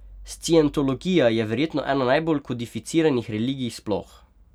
Scientologija je verjetno ena najbolj kodificiranih religij sploh.